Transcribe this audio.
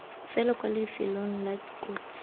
fela kwa lifelong la kotsi